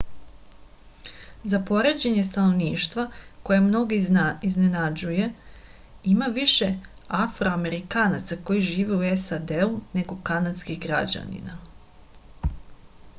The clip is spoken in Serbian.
za poređenje stanovništva koje mnoge iznenađuje ima više afroamerikanaca koji žive u sad nego kanadskih građanina